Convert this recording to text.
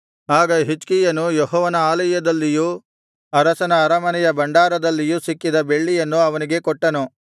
ಆಗ ಹಿಜ್ಕೀಯನು ಯೆಹೋವನ ಆಲಯದಲ್ಲಿಯೂ ಅರಸನ ಅರಮನೆಯ ಭಂಡಾರದಲ್ಲಿಯೂ ಸಿಕ್ಕಿದ ಬೆಳ್ಳಿಯನ್ನು ಅವನಿಗೆ ಕೊಟ್ಟನು